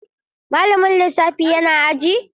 Malamin lissafi yana aji?